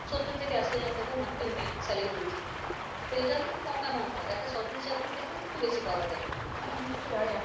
সত্তর থেকে আশি হাজার টাকা monthly উনি salary তুলছেন তো এইটাও কিন্তু কম amount নয় একটা সরকারি চাকরির থেকেও কিন্তু বেশি পাওয়া যায়